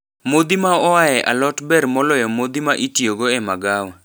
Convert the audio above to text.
Modhi ma oae alot ber moloyo modhi ma itiogo e magawa.